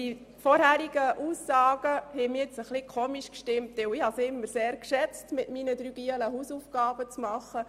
Die vorherigen Aussagen empfand ich als etwas merkwürdig, denn ich habe es immer sehr geschätzt, mit meinen drei Jungs Hausaufgaben zu machen.